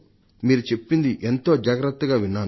మీరు చెప్పింది ఎంతో జాగ్రత్తగా విన్నాను